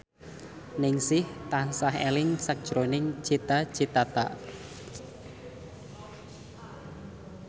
Ningsih tansah eling sakjroning Cita Citata